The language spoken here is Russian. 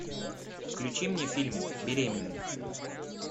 включи мне фильм беременный